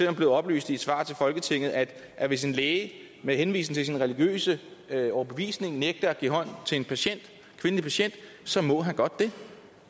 er blevet oplyst i et svar til folketinget at at hvis en læge med henvisning til sin religiøse overbevisning nægter at give hånd til en kvindelig patient så må han godt det